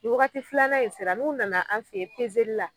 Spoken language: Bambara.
Ni Waagati filanan in sera nu nana an fɛ ye li la.